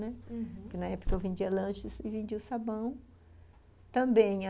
Né, uhum. Que na época eu vendia lanches e vendia o sabão também.